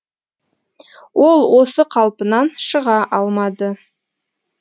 ол осы қалпынан шыға алмады